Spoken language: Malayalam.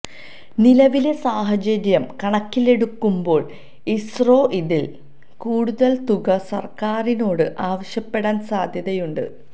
നിലവിലെ സാഹചര്യം കണക്കിലെടുക്കുമ്പോൾ ഇസ്രോ ഇതിൽ കൂടുതൽ തുക സർക്കാരിനോട് ആവശ്യപ്പെടാൻ സാധ്യതയുണ്ട്